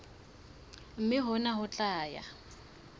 mme hona ho tla ya